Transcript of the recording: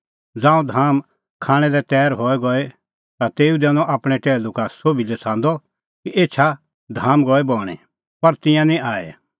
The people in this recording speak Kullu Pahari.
ज़ांऊं धाम खाणां लै तैर गई हई ता तेऊ दैनअ आपणैं टैहलू का सोभी लै छ़ांदअ कि एछा धाम गई बणीं पर तिंयां निं आऐ